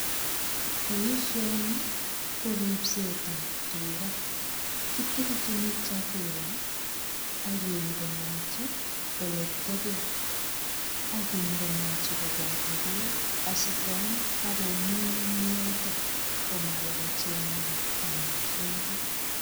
Boisioni ko ripsetab tuga kitilchini chakula ak kindenochi oleteben. Ak kindenochi koboto beek asikoam ak komuny eng yotok komawo kochengat amitwogik.